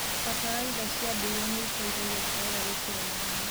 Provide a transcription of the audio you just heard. Bataraitha cia ndũire nĩiteithagia terere gũkũra na ihenya.